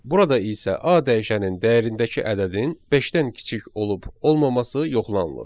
Burada isə A dəyişənin dəyərindəki ədədin beşdən kiçik olub-olmaması yoxlanılır.